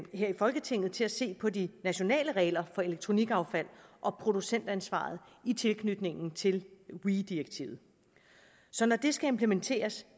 i folketinget til at se på de nationale regler for elektronikaffald og producentansvaret i tilknytning til weee direktivet så når det skal implementeres